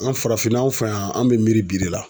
An farafinna anw fɛ yan, an be miiri bi de la.